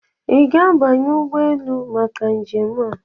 Ị ga-abanye ụgbọ elu maka njem a?